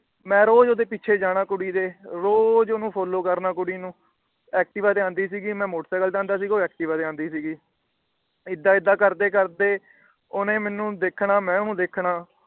ਮੈ ਰੋਜ ਉਹਦੇ ਪਿੱਛੇ ਜਾਣਾ ਕੁੜੀ ਦੇ। ਰੋਜ ਉਹਨੂੰ Follow ਕਰਨਾ ਕੁੜੀ ਨੂੰ। ਐਕਟਿਵਾ ਤੇ ਆਉਂਦੀ ਸੀ ਗੀ ਮੈ ਮੋਟਰ ਸਾਈਕਲ ਤੇ ਆਉਂਦਾ ਸੀ ਉਹ ਅਕਟਿਵਾਂ ਤੇ ਆਉਂਦੀ ਸੀ। ਏਦਾਂ ਏਦਾਂ ਕਰਦੇ ਕਰਦੇ ਓਹਨੇ ਮੈਨੂੰ ਦੇਖਣਾ ਮੈ ਉਹਨੂੰ ਦੇਖਣਾ।